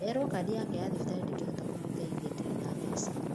Erwo kadi yake ya thibitarĩ ndĩngĩhota kũmũteithia ndĩrĩ na mbeca